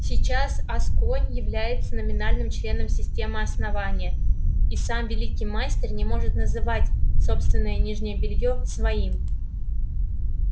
сейчас асконь является номинальным членом системы основания и сам великий мастер не может называть собственное нижнее белье своим